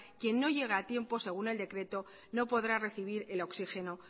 quien no llega a tiempo según el decreto no podrá recibir el oxígeno